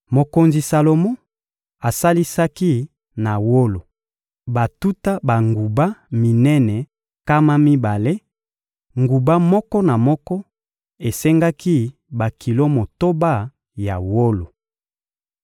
Mokonzi Salomo asalisaki na wolo batuta banguba minene nkama mibale: nguba moko na moko esengaki bakilo motoba ya wolo.